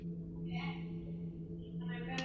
Það er ekki í boði.